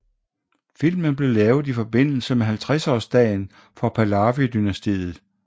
Filmen blev lavet i forbindelse med 50 års dagen for Pahlavi dynastiet